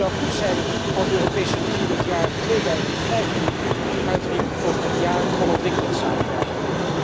Het zou goed zijn als de Europese Unie het jaar 2015 uitriep tot het jaar van ontwikkelingssamenwerking.